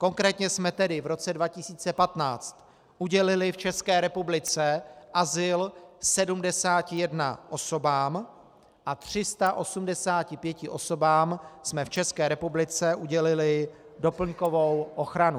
Konkrétně jsme tedy v roce 2015 udělili v České republice azyl 71 osobám a 385 osobám jsme v České republice udělili doplňkovou ochranu.